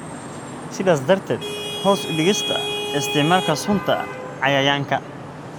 , sidaas darteed hoos u dhigista isticmaalka sunta cayayaanka.